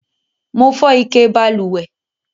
Mo fó ike balùwè